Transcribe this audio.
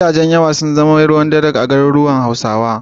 Gidajen yawa sun zama ruwan dare a garuruwan Hausawa.